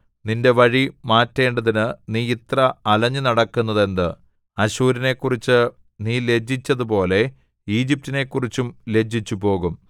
നിന്റെ വഴി മാറ്റേണ്ടതിന് നീ ഇത്ര അലഞ്ഞുനടക്കുന്നതെന്ത് അശ്ശൂരിനെക്കുറിച്ച് നീ ലജ്ജിച്ചതുപോലെ ഈജിപ്റ്റിനെക്കുറിച്ചും ലജ്ജിച്ചുപോകും